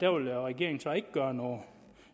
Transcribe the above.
vil regeringen så ikke gøre noget